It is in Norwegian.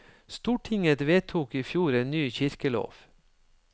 Stortinget vedtok i fjor en ny kirkelov.